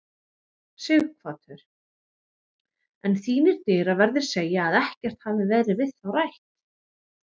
Sighvatur: En þínir dyraverðir segja að ekkert hafi verið við þá rætt?